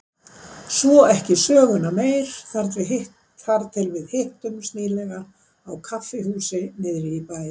Svo ekki söguna meir þar til við hittumst nýlega á kaffihúsi niðri í bæ.